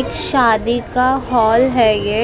एक शादी का हाल है ये